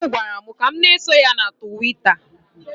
Dị m gwara m ka m na-eso ya na Tụwita.